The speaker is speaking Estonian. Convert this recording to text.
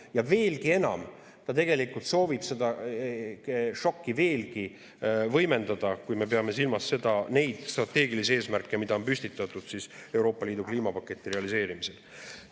Ja veelgi enam: ta tegelikult soovib seda šokki veelgi võimendada, kui me peame silmas neid strateegilisi eesmärke, mida on püstitatud Euroopa Liidu kliimapaketi realiseerimisel.